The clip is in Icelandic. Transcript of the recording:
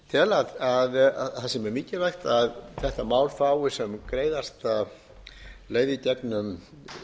tel að það sé mjög mikilvægt að þetta mál fái sem greiðasta leið í gegnum